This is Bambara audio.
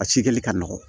A cikɛli ka nɔgɔ